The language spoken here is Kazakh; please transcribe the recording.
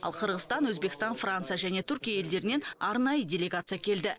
ал қырғызстан өзбекстан франция және түркия елдерінен арнайы делегация келді